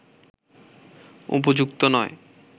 উপযুক্ত নয়